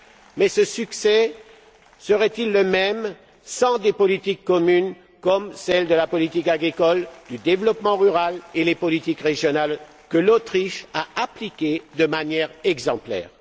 Mais ce succès serait il le même sans des politiques communes comme la politique agricole, la politique du développement rural et les politiques régionales, que l'Autriche a appliquées de manière exemplaire?